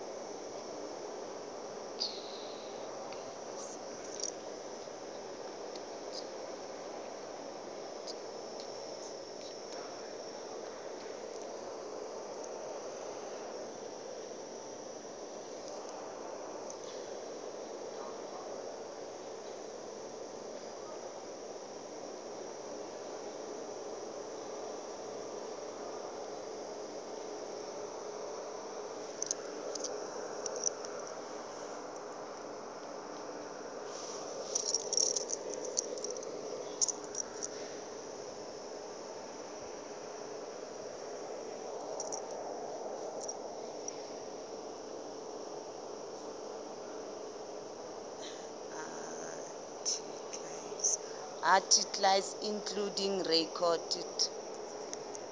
articles including recorded